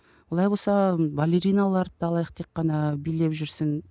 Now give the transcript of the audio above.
олай болса балериналарды алайық тек қана билеп жүрсін